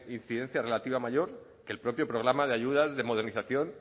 incidencia relativa mayor que el propio programa de ayudas de modernización